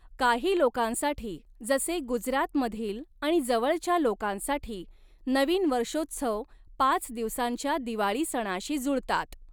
काही लोकांसाठी, जसे गुजरातमधील आणि जवळच्या लोकांसाठी, नवीन वर्षोत्सव पाच दिवसांच्या दिवाळी सणाशी जुळतात.